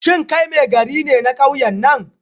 Shin kai Maigari ne na kauyen nan?